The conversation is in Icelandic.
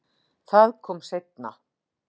Það kom seinna